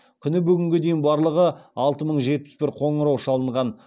күні бүгінге дейін барлығы алты мың жетпіс бір қоңырау шалынған